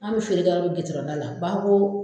Anw bɛ feere kɛ an ka gudɔrɔn da la,